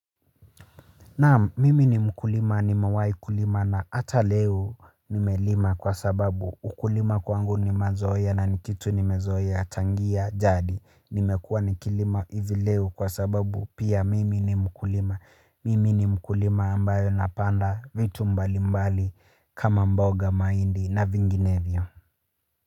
Naam, mimi ni mkulima, nimewahi kulima na hata leo nimelima kwa sababu ukulima kwangu ni mazoea na ni kitu nimezoea tangia jadi. Nimekuwa nikilima hivi leo kwa sababu pia mimi ni mkulima, mimi ni mkulima ambayo napanda vitu mbalimbali kama mboga mahindi na vinginevyo.